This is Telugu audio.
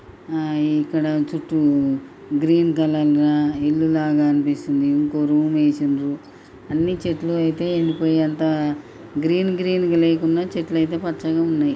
ఆ ఇక్కడ చుట్టూ గ్రీన్ కలర్ ల ఇల్లు లాగ అనిపిస్తుంది ఇంకో రూమ్ వేసిన్రు అన్ని చెట్లు అయితే ఎండి పోయంత గ్రీన్ గ్రీన్ లేకున్న చెట్లు అయితే పచ్చగా వున్నాయ్.